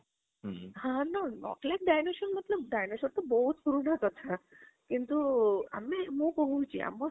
ହଁ ନା ନକଲି dinosaur ତ ବହୁତ ପୁରୁଣା କଥା କିନ୍ତୁ ଆମେ ମୁଁ କହୁଛି ଆମେ